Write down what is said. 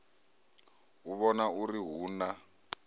u vhona uri hu na